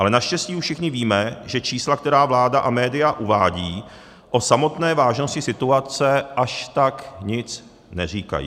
Ale naštěstí už všichni víme, že čísla, která vláda a média uvádějí, o samotné vážnosti situace, až tak nic neříkají.